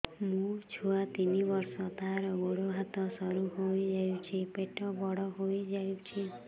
ମୋ ଛୁଆ ତିନି ବର୍ଷ ତାର ଗୋଡ ହାତ ସରୁ ହୋଇଯାଉଛି ପେଟ ବଡ ହୋଇ ଯାଉଛି